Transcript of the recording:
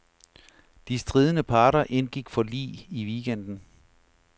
De stridende parter indgik forlig i weekenden.